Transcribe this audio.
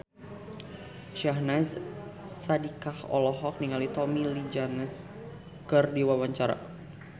Syahnaz Sadiqah olohok ningali Tommy Lee Jones keur diwawancara